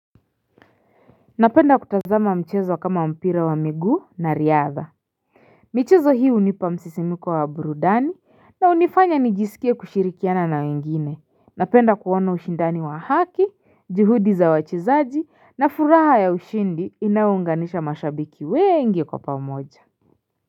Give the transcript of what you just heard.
Napenda kutazama mchezo kama mpira wa miguu na riadha michezo hii unipa msisimiko wa burudani na unifanya nijisikie kushirikiana na wengine Napenda kuona ushindani wa haki juhudi za wachezaji na furaha ya ushindi inaunganisha mashabiki wengi kwa pamoja.